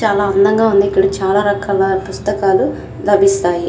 చాలా అందంగా ఉంది. ఇక్కడ చాలా రకాల పుస్తకాలు లభిస్తాయి.